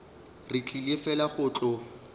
re tlile fela go tlo